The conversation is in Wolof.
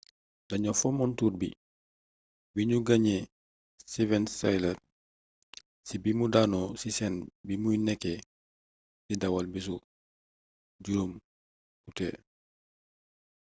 dañoo fommoon tour bi biñu gaañee steven tyler ci bimu daanoo ci scène bimuy nekkee di dawal bisu 5 ut